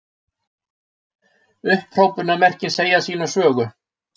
Upphrópunarmerkin segja sína sögu.